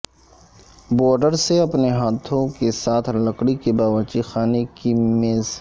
boards سے اپنے ہاتھوں کے ساتھ لکڑی کے باورچی خانے کی میز